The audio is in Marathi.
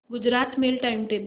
Gujarat mail time table